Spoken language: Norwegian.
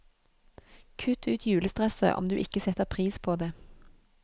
Kutt ut julestresset, om du ikke setter pris på det.